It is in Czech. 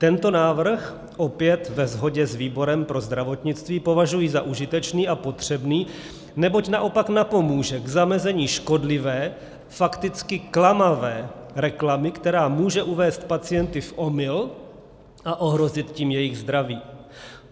Tento návrh, opět ve shodě s výborem pro zdravotnictví, považuji za užitečný a potřebný, neboť naopak napomůže k zamezení škodlivé, fakticky klamavé reklamy, která může uvést pacienty v omyl a ohrozit tím jejich zdraví.